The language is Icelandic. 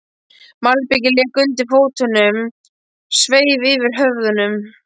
Malbikið lék undir fótunum, myrkrið sveif yfir höfðunum.